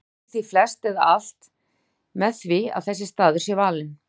Mælir því flest eða alt með því að þessi staður sé valinn.